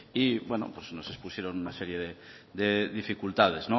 y nos expusieron una serie de dificultades